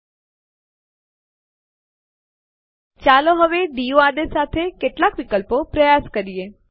output સંદેશ પરથી આપણે જોઇ શકીએ કે આપણે ટેસ્ટડિર રદ કરવા માટે આરએમ નો ઉપયોગ ન કરી શકીએ